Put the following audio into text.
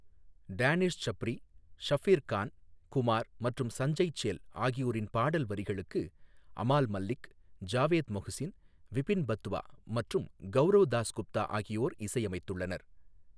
Danish Sabri, Shabbir Khan, Kumaar மற்றும் சஞ்சய் சேல் ஆகியோரின் பாடல் வரிகளுக்கு அமால் மல்லிக், ஜாவேத் மொஹ்சின், விபின் பட்வா மற்றும் கௌரோவ் தாஸ்குப்தா ஆகியோர் இசையமைத்துள்ளனர்.